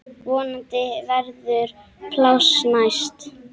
Vonandi verður pláss næst.